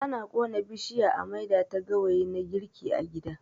Ana ƙona bishiya a maida ta gawayi na girki a gida.